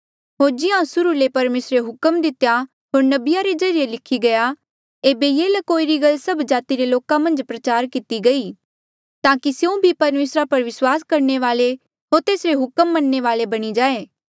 होर जिहां सुर्हू ले परमेसरे हुक्म दितेया होर नबिया रे ज्रीए लिखी गया एेबे ये ल्कोई री गल्ल सब जाति रे लोका मन्झ प्रचार किती गई ताकि स्यों भी परमेसरा पर विस्वास करणे वाले होर तेसरे हुक्म मनणे वाले बणी जाऐ